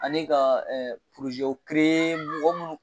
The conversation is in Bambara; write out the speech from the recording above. Ani ka mɔgɔ minnu.